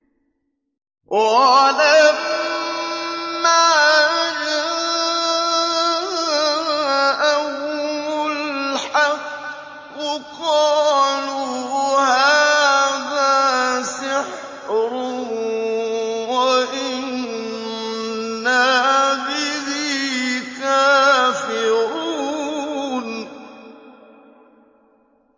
وَلَمَّا جَاءَهُمُ الْحَقُّ قَالُوا هَٰذَا سِحْرٌ وَإِنَّا بِهِ كَافِرُونَ